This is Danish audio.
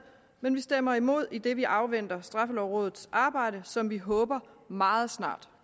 men vi stemmer imod idet vi afventer straffelovrådets arbejde som vi håber meget snart